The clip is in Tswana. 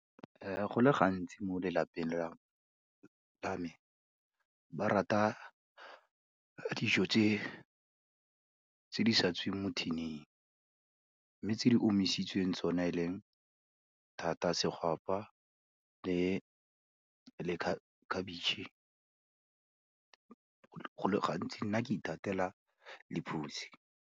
Go le gantsi mo lelapeng la me, ba rata dijo tse di sa tsweng mo tin-ing, mme tse di omisitsweng tsone e leng thata segwapa le khabetšhe, go le gantsi nna ke ithatela lephutsi.